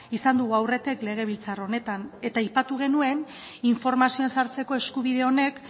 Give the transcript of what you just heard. izan dugu aurretik legebiltzar honetan eta aipatu genuen informazioan sartzeko eskubide honek